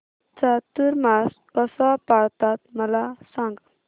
चातुर्मास कसा पाळतात मला सांग